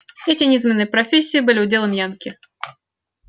эти низменные профессии были уделом янки